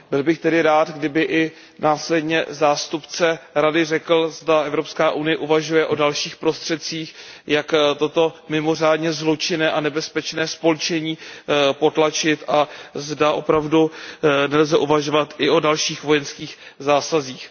Byl bych tedy rád, kdyby i následně zástupce Rady řekl, zda EU uvažuje o dalších prostředcích, jak toto mimořádně zločinné a nebezpečné spolčení potlačit, a zda opravdu nelze uvažovat i o dalších vojenských zásazích.